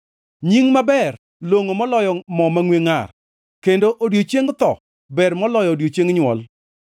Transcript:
Nying maber longʼo moloyo mo mangʼwe ngʼar, kendo odiechieng tho ber moloyo odiechieng nywol.